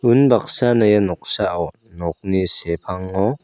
unbaksana ia noksao nokni sepango--